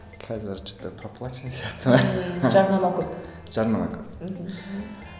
қазір что то проплаченный сияқты ма жарнама көп жарнама көп мхм